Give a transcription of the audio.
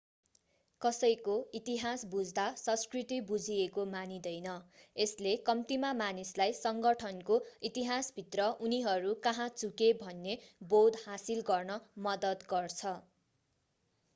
कसैको इतिहास बुझ्दा संस्कृति बुझिएको मानिँदैन यसले कम्तीमा मानिसलाई सङ्गठनको इतिहासभित्र उनीहरू कहाँ चुके भन्ने बोध हासिल गर्न मद्दत गर्छ